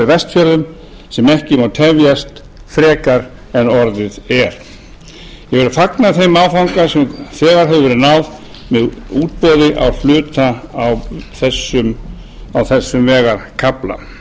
vestfjörðum sem ekki má tefjast frekar en orðið er ég vil fagna þeim áfanga sem þegar hefur verið náð með útboði á hluta á þessum vegarkafla